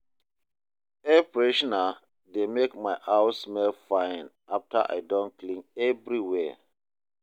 Air freshener dey make my house smell fine after I don clean everywhere.